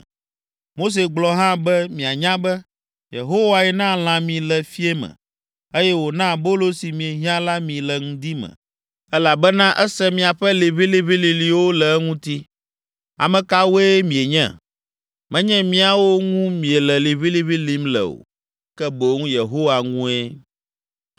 Mose gblɔ hã be mianya be, “Yehowae na lã mi le fiẽ me, eye wòna abolo si miehiã la mi le ŋdi me, elabena ese miaƒe liʋĩliʋĩlilĩwo le eŋuti. Ame kawoe mienye? Menye míawo ŋu miele liʋĩliʋĩ lĩm le o, ke boŋ Yehowa ŋue.”